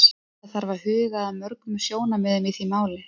Það þarf að huga að mörgum sjónarmiðum í því máli.